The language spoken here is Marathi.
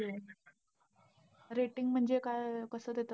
Rating म्हणजे काय, अं कसं देतात हे?